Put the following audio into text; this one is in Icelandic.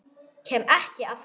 Kem ekki aftur.